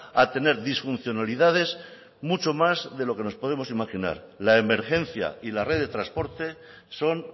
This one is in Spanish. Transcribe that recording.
a tener disfuncionalidades mucho más de lo que nos podemos imaginar la emergencia y la red de transporte son